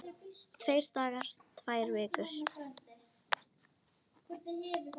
Tveir dagar, tvær vikur?